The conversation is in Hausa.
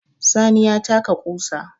Sani ya taka ƙusa